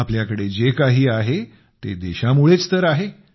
आपल्याकडे जे काही आहे ते देशामुळेच तर आहे